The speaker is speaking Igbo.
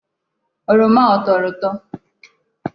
Oroma a ọ tọrọ ụtọ?